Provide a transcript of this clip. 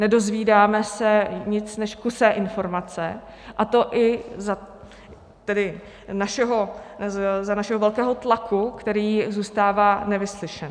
Nedozvídáme se nic než kusé informace, a to i za našeho velkého tlaku, který zůstává nevyslyšen.